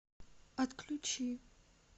отключи